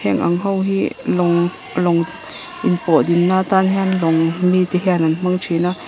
heng ang ho hi lawng lawng in pawh ding na tan hian lawng mite hian an hmang thin a.